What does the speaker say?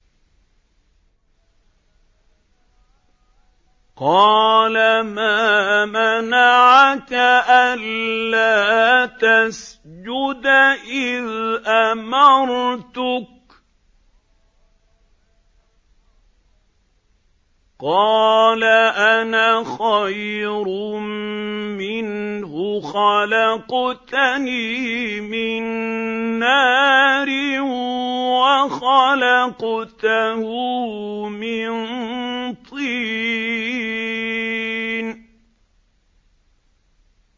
قَالَ مَا مَنَعَكَ أَلَّا تَسْجُدَ إِذْ أَمَرْتُكَ ۖ قَالَ أَنَا خَيْرٌ مِّنْهُ خَلَقْتَنِي مِن نَّارٍ وَخَلَقْتَهُ مِن طِينٍ